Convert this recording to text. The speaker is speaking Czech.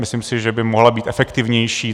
Myslím si, že by mohla být efektivnější.